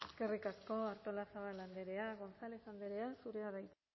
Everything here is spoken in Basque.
eskerrik asko artolazabal andrea gonález andrea zurea da hitza